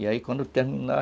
E aí, quando eu terminar,